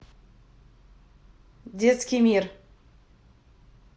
детский мир